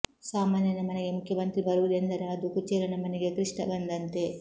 ಸಾಮಾನ್ಯನ ಮನೆಗೆ ಮುಖ್ಯಮಂತ್ರಿ ಬರುವುದೆಂದರೆ ಅದು ಕುಚೇಲನ ಮನೆಗೆ ಕೃಷ್ಣ ಬಂದಂತೆ